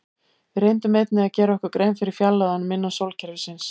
Við reyndum einnig að gera okkur grein fyrir fjarlægðunum innan sólkerfisins.